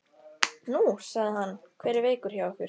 Nú, sagði hann, hver er veikur hjá ykkur?